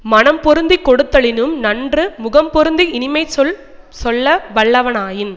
மனம் பொருந்தி கொடுத்தலினும் நன்று முகம் பொருந்தி இனிமைச்சொல் சொல்ல வல்லவனாயின்